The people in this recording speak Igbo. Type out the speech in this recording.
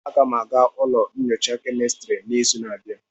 Aga m aga ụlọ nyocha kemistri n'izu na-abịa.